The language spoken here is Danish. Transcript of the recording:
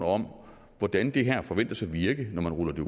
om hvordan det her forventes at virke når det